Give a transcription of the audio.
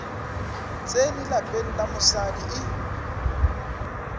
tsene lapeng la mosadi e